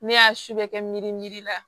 Ne y'a su bɛɛ kɛ miiri miiri la